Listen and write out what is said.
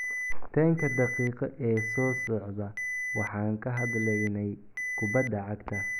“10-ka daqiiqo ee soo socda waxaan ka hadlaynay kubada cagta.